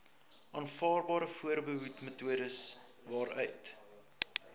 aanvaarbare voorbehoedmetodes waaruit